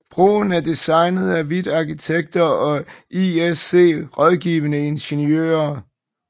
Broen er designet af Hvidt Arkitekter og ISC Rådgivende Ingeniører